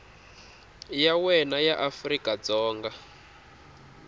ya wena ya afrika dzonga